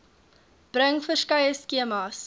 bring verskeie skemas